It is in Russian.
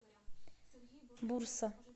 бурса